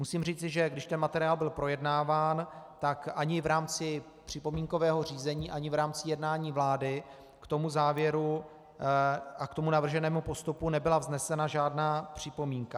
Musím říct, že když ten materiál byl projednáván, tak ani v rámci připomínkového řízení, ani v rámci jednání vlády k tomu závěru a k tomu navrženému postupu nebyla vznesena žádná připomínka.